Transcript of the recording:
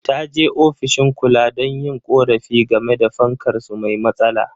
Ta je ofishin kula don yin korafi game da fankar su mai matsala.